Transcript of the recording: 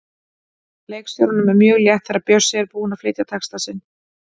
Leikstjóranum er mjög létt þegar Bjössi er búinn að flytja texta sinn.